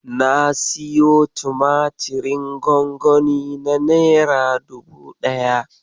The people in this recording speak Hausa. Na siyo tumatirin gwangwani na nera dubu ɗaya.